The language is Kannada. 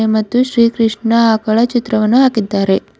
ಮತ್ತು ಶ್ರೀ ಕೃಷ್ಣ ಆಕಳ ಚಿತ್ರವನ್ನು ಹಾಕಿದ್ದಾರೆ.